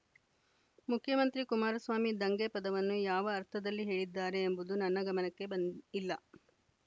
ಮುಖ್ಯಮಂತ್ರಿ ಕುಮಾರಸ್ವಾಮಿ ದಂಗೆ ಪದವನ್ನು ಯಾವ ಅರ್ಥದಲ್ಲಿ ಹೇಳಿದ್ದಾರೆ ಎಂಬುದು ನನ್ನ ಗಮನಕ್ಕೆ ಬಂ ಇಲ್ಲ